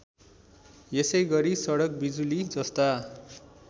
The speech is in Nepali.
यसैगरी सडक बिजुलीजस्ता